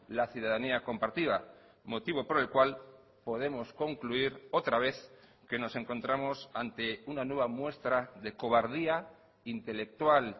la ciudadanía compartida motivo por el cual podemos concluir otra vez que nos encontramos ante una nueva muestra de cobardía intelectual